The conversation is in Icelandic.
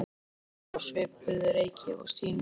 Hann var á svipuðu reki og Stína.